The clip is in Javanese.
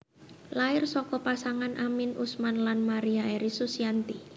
Lair saka pasangan Amin Usman lan Maria Eri Susianti